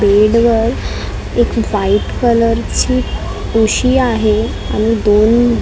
बेडवर एक व्हाईट कलरची उशी आहे आणि दोन व --